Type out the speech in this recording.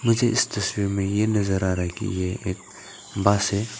मुझे इस तस्वीर में ये नजर आ रहा है कि ये एक बस है।